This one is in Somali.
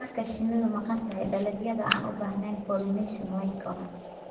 Marka shinnidu maqan tahay, dalagyada aan u baahnayn pollination way koraan.